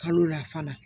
Kalo la fana